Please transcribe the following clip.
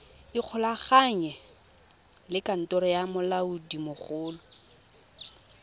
ikgolaganye le kantoro ya molaodimogolo